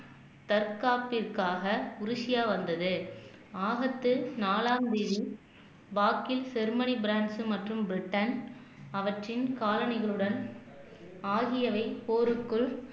தற்காப்பிற்காக Russia வந்தது ஆகத்தில் நாலாம் தேதி வாக்கில் ஜெர்மனி பிரென்ச் மற்றும் பிரிட்டன் அவற்றின் காலணிகளுடன் ஆகியவை போருக்குள்